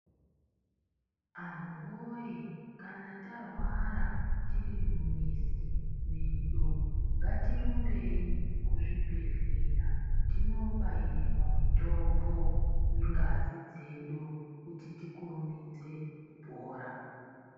Anhu woye kana tarwara tiri mumizi medu ngatirumbei kuzvibhedhlera tinobairirwa mitombo nengazi dzedu kuti tikurumidze kupora.